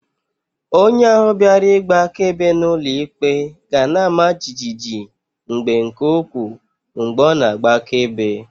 Onye ahu biara igba akaebe n'ulo ikpe gana-ama jijiji mgbe nke ukwu mgbe o na-agba akaebe.